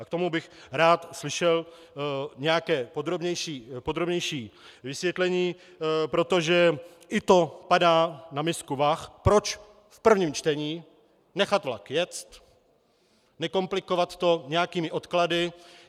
A k tomu bych rád slyšel nějaké podrobnější vysvětlení, protože i to padá na misku vah, proč v prvním čtení nechat vlak jet, nekomplikovat to nějakými odklady.